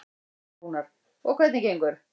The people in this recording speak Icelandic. Rúnar: Og hvernig gengur?